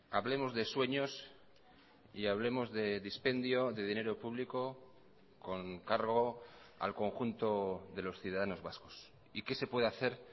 hablemos de sueños y hablemos de dispendio de dinero público con cargo al conjunto de los ciudadanos vascos y qué se puede hacer